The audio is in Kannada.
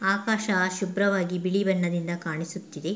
ಆಕಾಶ ಶುಭ್ರವಾಗಿ ಬಿಳಿ ಬಣ್ಣದಿಂದ ಕಾಣಿಸುತ್ತಿದೆ.